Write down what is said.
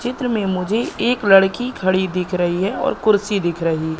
चित्र में मुझे एक लड़की खड़ी दिख रही है और कुर्सी दिख रही--